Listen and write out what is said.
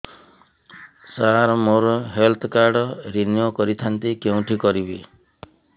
ସାର ମୋର health card renew କରିଥାନ୍ତି କେଉଁଠି କରିବି